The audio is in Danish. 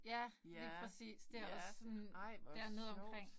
Ja lige præcis. Det også sådan dernede omkring